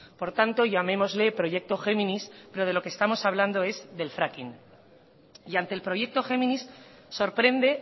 por tanto llamémosle proyecto géminis pero de lo que estamos hablando es del fracking y ante el proyecto géminis sorprende